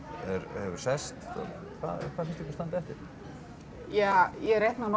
hefur sest hvað finnst ykkur standa eftir ja ég reikna nú